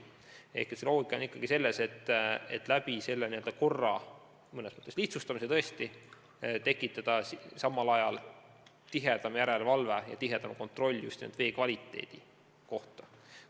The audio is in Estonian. Loogika on ikkagi selles, et asjaomase korra mõnes mõttes lihtsustamisega tekitada samal ajal parem järelevalve ja tihedam vee kvaliteedi kontroll.